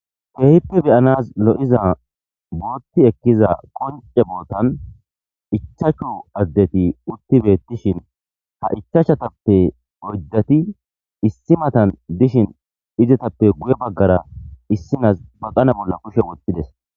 Keehippe beyanas lo7iza bootti ekkiza konce bootan ichachu addeti utti beettishin ha ichachatappe ordati issi matan dishin izetappe guye baggara issinas baqana bolla kushe wottides.